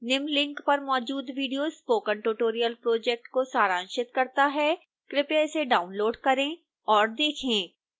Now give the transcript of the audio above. निम्न लिंक पर मौजूद विडियो स्पोकन ट्यूटोरियल प्रोजेक्ट को सारांशित करता है कृपया इसे डाउनलोड करें और देखें